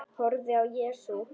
Horfði á Jesú.